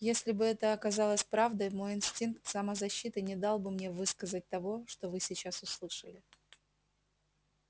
если бы это оказалось правдой мой инстинкт самозащиты не дал бы мне высказать того что вы сейчас услышали